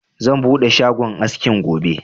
Zan buɗe shagon askin gobe